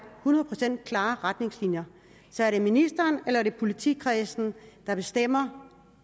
hundrede procent klare retningslinjer så er det ministeren eller politikredsen der bestemmer